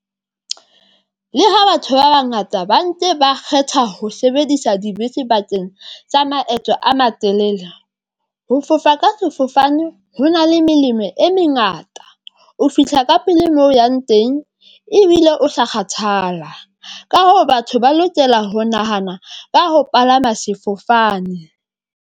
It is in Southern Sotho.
Le ha batho ba bangata ba nke ba kgetha ho sebedisa dibese bakeng tsa maeto a matelele ho fofa ka sefofane, ho na le melemo e mengata. O fihla ka pele mo o yang teng ebile o sa kgathala. Ka hoo, batho ba lokela ho nahana ka ho palama sefofane.